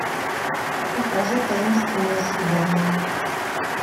покажи таинственное свидание